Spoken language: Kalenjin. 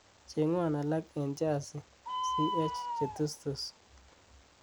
cheng'won alak en jazi ch jetustus